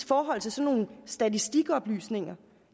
forhold til sådan nogle statistikoplysninger